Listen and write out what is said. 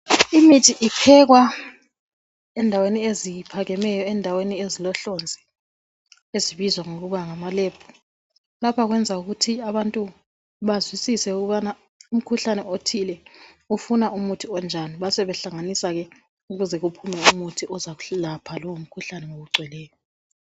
Imithi iphekwa endaweni eziphakemeyo ,endaweni ezilohlonzi ezibizwa ngokuba ngamalebhu. Lapha kwenza ukuthi abantu bazwisise ukubana umkhuhlane othile ufuna umuthi onjani basebehlanganisa ke ukuze kuphume umuthi uzokwelapha lowo mkhuhlane ngokugcweleyo.